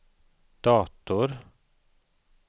dator